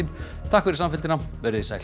takk fyrir samfylgdina verið þið sæl